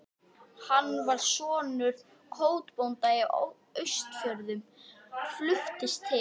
Hann var sonur kotbónda á Austfjörðum, fluttist til